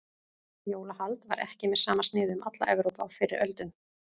Jólahald var ekki með sama sniði um alla Evrópu á fyrri öldum.